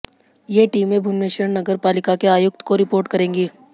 ये टीमें भुवनेश्वर नगर पालिका के आयुक्त को रिपोर्ट करेंगी